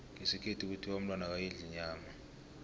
ngesikhethu kuthiwa umntwana akayidli inyama